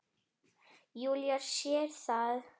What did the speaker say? Júlía sér það.